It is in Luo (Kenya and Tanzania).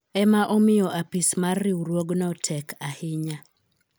ema omiyo apis mar riwruogno tek ahinya